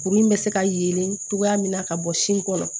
Kuru in bɛ se ka yelen cogoya min na ka bɔ sin kɔnɔ